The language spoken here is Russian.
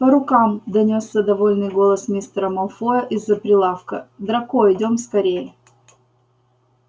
по рукам донёсся довольный голос мистера малфоя из-за прилавка драко идём скорее